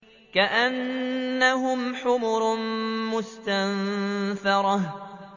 كَأَنَّهُمْ حُمُرٌ مُّسْتَنفِرَةٌ